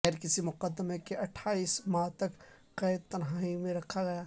بغیر کسی مقدمے کے اٹھائیس ماہ تک قید تنہائی میں رکھا گیا